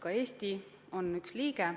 Ka Eesti on üks liige.